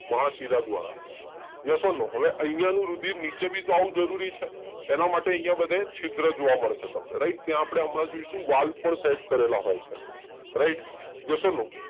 મહાશીલા દ્વારા. Yes or no? હવે અહિયાં નો રુધિર નીચે ભી આવવો જરૂરી છે. એના માટે અહિયાં બધે છિદ્રો જોવા મળશે તમને રાઈટ. ત્યાં આપણે હમણાં જોઇશે કે વાલ પણ સેટ કરેલા હોય છે રાઈટ યસ ઔર નો?